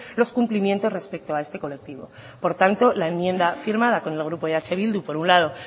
los cumplimientos respecto a este colectivo por tanto la enmienda firmada con el grupo eh bildu por un lado